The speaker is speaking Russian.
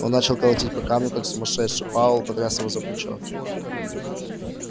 он начал колотить по камню как сумасшедший пауэлл потряс его за плечо